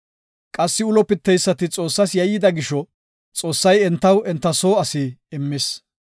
Qassi ulo piteysati Xoossas yayyida gisho Xoossay entaw enta soo asi immis.